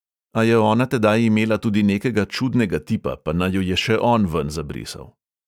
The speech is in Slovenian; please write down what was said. A je ona tedaj imela tudi nekega čudnega tipa, pa naju je še on ven zabrisal.